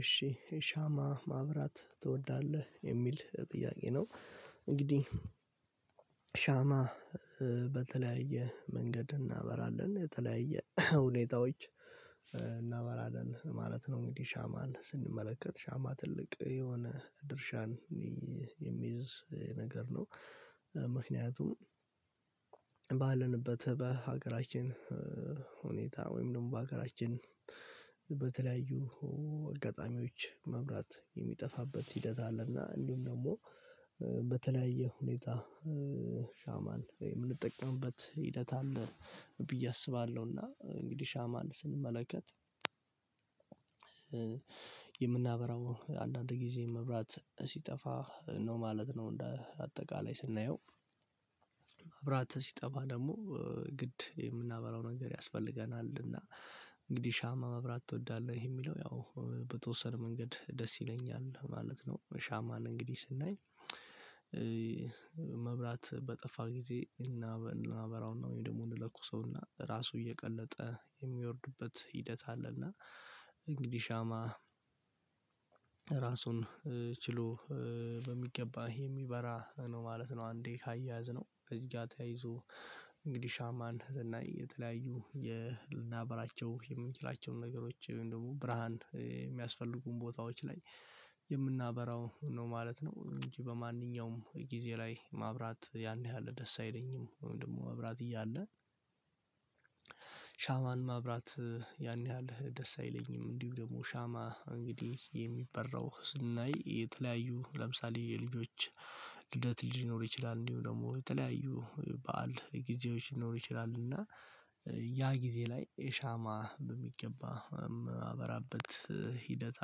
እሺ ሻማ ማብራት ትወዳለህ የሚል ጥያቄ ነው። እንግዲህ ሻማ በተለያየ መንገድ እናበራለን የተለያየ ሁኔቶች እናበራለን ማለት ነው እንግዲህ ሻማን ስንመለከት ሻማ ትልቅ የሆነ ድርሻን የሚይዝ ነገር ነው። ምክንያቱም ባለንበት በሀገራችን ሁኔታ ወይም ደሞ በሀገራችን በተለያዩ አጋጣሚዎች መብራት የሚጠፋበት ሂደት አለና እንዲውም ደሞ በተለያየ ሁኔታ ሻማን የምንጠቀምበት ሂደት አለ። ብዬ አስባለውና እንግዲህ ሻማን ስንመለከት የምናበራው አንዳንድ ጊዜ መብራት ሲጠፋ ነው ማለት ነው። እንደ አጠቃላይ ስናየው መብራት ሲጠፋ ደሞ ግድ የምናበራው ነገር ያስፈልገናል። እና እንግዲህ ሻማ ማብራት ትወዳለህ የሚለው ያው በተወሰነ መንገድ ደስ ይለኛል ማለት ነው። ሻማን እንግዲህ ስናይ መብራት በጠፋ ጊዜ እናበራውና ወይ ደሞ እንለኩሰውና ራሱ እየቀለጠ የሚወርድበት ሂደት አለ። እና እንግዲህ ሻማ ራሱን ችሎ በሚገባ ይሄ ሚበራ ነው ማለት ነው። አንዴ ካያያዝነው እዚህ ጋር ተያይዞ እንግዲህ ሻማን ስናይ የተለያዩ የ ልናበራቸው የምንችላቸውን ነገሮች ወይም ደሞ ብርሃን የሚያስፈልጉን ቦታዎች ላይ የምናበራው ነው ማለት ነው። እንጂ በማንኛውም ጊዜ ላይ ማብራት ያን ያህል ደስ አይለኝም ወይም ደሞ ማብራት እያለ ሻማን ማብራት ያን ያህል ደስ አይለኝም። እንዲሁ ደግሞ ሻማ እንግዲህ የሚበራው ስናይ የተለያዩ ለምሳሌ የልጆች ልደት ሊኖር ይችላል እንዲሁ ደሞ የተለያዩ በዓል ጊዜዎች ሊኖሩ ይችላሉና ያ ጊዜ ላይ ሻማ በሚገባ ማበራበት ሂደት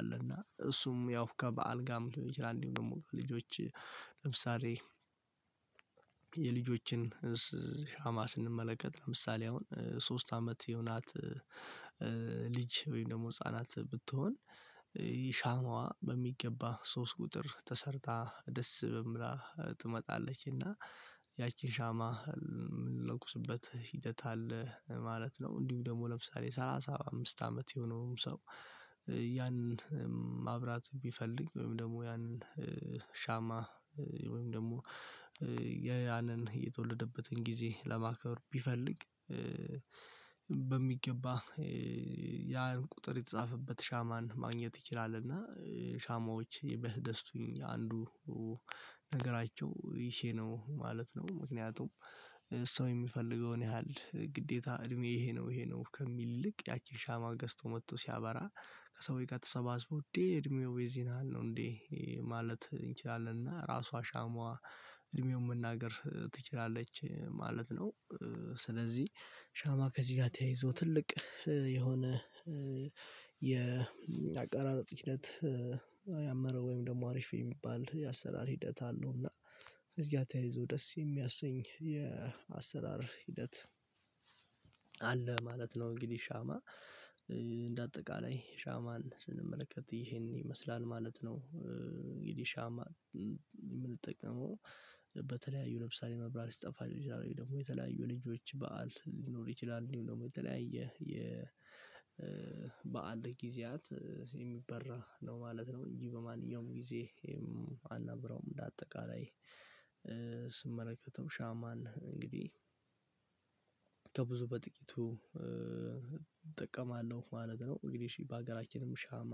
አለና እሱም ያው ከበዓል ጋም ሊሆን ይችላል። እንዲሁ ደሞ ልጆች ለምሳሌ የልጆችን ሻማ ስንመለከት ለምሳሌ አሁን ሶስት አመት የሆናት ልጅ ወይም ደሞ ህፃናት ብትሆን ሻማዋ በሚገባ ሶስት ቁጥር ተሰርታ ደስ በምላ ትመጣለች እና ያቺን ሻማ ምንለኩስበት ሂደት አለ ማለት ነው። እንዲሁ ደግሞ ለምሳሌ ሰላሳ አምስት አመት የሆነው ሰው ያንን ማብራት ቢፈልግ ወይም ደሞ ያንን ሻማ ወይም ደሞ ያንን የተወለደበትን ጊዜ ለማክብር ቢፈልግ በሚገባ ያን ቁጥር የተጻፈበት ሻማን ማግኘት ይችላል። እና ሻማዎች የሚያስደስቱኝ አንዱ ነገራቸው ይሄ ነው ማለት ነው። ምክንያቱም ሰው የሚፈልገውን ያህል ግዴታ እድሜ ይሄ ነው ይሄ ነው ከሚል ይልቅ ያቺን ሻማ ገዝቶ መቶ ሲያበራ ከሰዎች ጋር ተሰባስቦ እንዴ እድሜው የዚን ያህል ነህ ነው እንዴ ማለት እንችላለን እና ራሷ ሻሟ እድሜውን መናገር ትችላለች ማለት ነው። ስለዚ ሻማ ከዚ ጋር ተያይዞ ትልቅ የሆነ የአቀራረጽ ሂደት ያመረ ወይም ደሞ አሪፍ የሚባል የአሰራር ሂደት አለው። እና እዚህ ጋ ተያይዞ ደስ የሚያሰኝ የአሰራር ሂደት አለ ማለት ነው። እንግዲ ሻማ እንደ አጠቃላይ ሻማን ስንመለከት ይሄን ይመስላል ማለት ነው። እንግዲ ሻማ የምንጠቀመው በተለያዩ ለምሳሌ መብራት ሲጠፋ ሊሆን ይችላል ወይም ደሞ የተለያዩ የልጆች በዓል ሊኖር ይችላል እንዲውም ደሞ የተለያየ የ የበአል ጊዜያት የሚበራ ነው ማለት ነው። እንጂ በማንኛውም ጊዜ አናበራውም እንደ አጠቃላይ ስመለከተው ሻማን እንግዲ በጥቂቱ እጠቀማለው ማለት ነው። እንግዲ እሺ በሀገራችንም ሻማ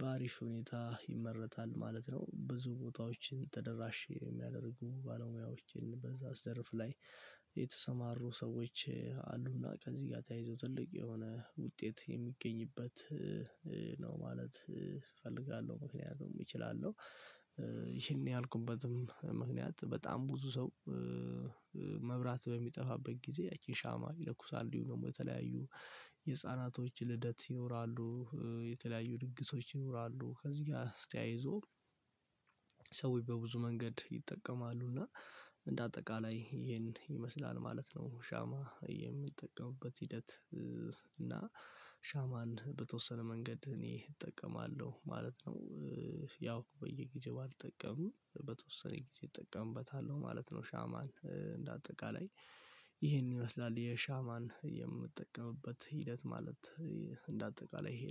በአሪፍ ሁኔታ ይመረታል ማለት ነው። ብዙ ቦታዎችን ተደራሽ የሚያደርጉ ባለሙያዎችን በዛ ዘርፍ ላይ የተሰማሩ ሰዎች አሉና ከዚ ጋር ተያይዞ ትልቅ የሆነ ውጤት የሚገኝበት ነው ማለት እፈልጋለው። ምክንያቱም እችላለው ይሄን ያልኩበትም ምክንያት በጣም ብዙ ሰው መብራት በሚጠፋበት ጊዜ ያቺን ሻማ ይለኩሳል እንዲውም ደሞ የተለያዩ የህፃናቶች ልደት ይኖራሉ የተለያዩ ድግሶች ይኖራሉ ከዚ ጋር አስተያይዞ ሰዎች በብዙ መንገድ ይጠቀማሉና እንደ አጠቃላይ ይሄን ይመስላል ማለት ነው። ሻማ የምንጠቀምበት ሂደት እና ሻማን በተወሰነ መንገድ እኔ እጠቀማለው ማለት ነው። ያው በየጊዜው ባልጠቀምም በተወሰነ ጊዜ እጠቀምበታለው ማለት ነው። ሻማን እንደ አጠቃላይ ይሄን ይመስላል የሻማን የምጠቀምበት ሂደት ማለት እንደ አጠቃላይ ይሄ ነው